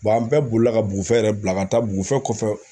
an bɛɛ bolila ka bugufiyɛ yɛrɛ bila ka taa dugufiyɛ kɔfɛ